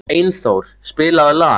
Einþór, spilaðu lag.